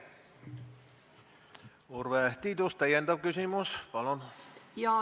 Urve Tiidus, täpsustav küsimus, palun!